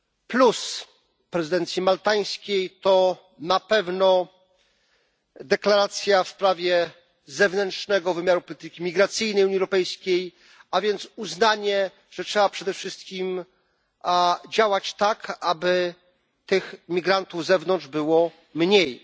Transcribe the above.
Plus prezydencji maltańskiej to na pewno deklaracja w sprawie zewnętrznego wymiaru polityki migracyjnej Unii Europejskiej, a więc uznanie, że trzeba przede wszystkim działać tak, aby tych migrantów z zewnątrz było mniej.